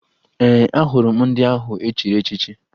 Ee, ahụrụ m ndị ahụ e chiri echichi